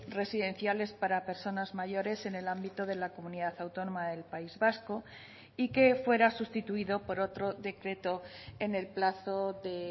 residenciales para personas mayores en el ámbito de la comunidad autónoma del país vasco y que fuera sustituido por otro decreto en el plazo de